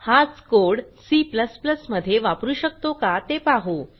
हाच code C मध्ये वापरू शकतो का ते पाहू